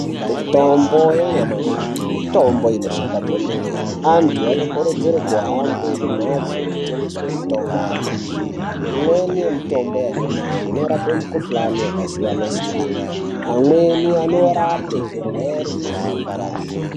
Mitombo yanyamashi mitombo inoshanda kwemene. Antu anokurudzirwa kuhambe kumhatso inotengesa mitombo yanyamashi. Imweni mitombo yanyamashi inorapa mikhuhlani yakasiyana siyana. Amweni anorapa zvirwere zveshuga.